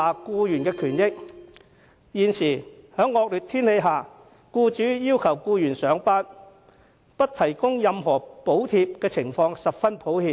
僱主在惡劣天氣下要求僱員上班，但不提供任何補貼的情況比比皆是。